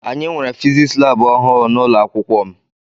Anyị nwere fiziks lab ọhụụ n'ụlọakwụkwọ m.